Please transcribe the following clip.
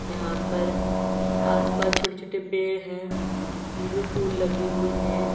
यहां पर आस पास छोटे छोटे पेड़ हैं जिनमें फूल लगे हुए है।